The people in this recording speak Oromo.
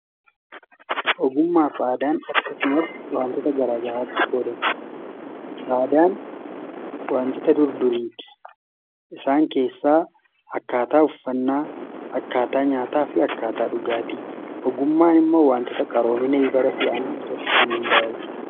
Ogummaa fi aadaan akkasumas wantoota garaagaraatti qoodama. A adaan wantoota durdurii isaan keessaa akkaataa uffannaa, akkaataa nyaataa fi akkaataa dhugaatii .Ogummaan immoo wantoota qaroominaati.